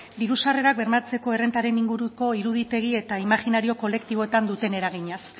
diru sarrerak bermatzeko errentaren inguruko iruditegi eta imajinario kolektiboetan duten eraginaz